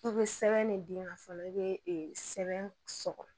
I bɛ sɛbɛn ne d'i ma fɔlɔ i bɛ sɛbɛn